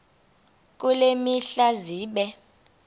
kule mihla zibe